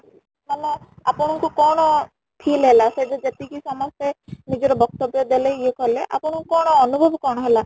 ମାନେ ଆପଣ ଙ୍କୁ କ'ଣ feel ହେଲା ସେଦିନ ଯେତିକି ସମସ୍ତେ ନିଜର ବକ୍ତବ୍ୟ ଦେଲେ ଇଏ କଲେ ଆପଣ ଙ୍କୁ କ'ଣ ଅନୁଭବ କ'ଣ ହେଲା ?